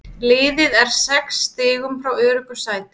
Liðið er sex stigum frá öruggu sæti.